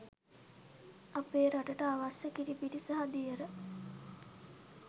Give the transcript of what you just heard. අපේ රටට අවශ්‍ය කිරිපිටි සහ දියර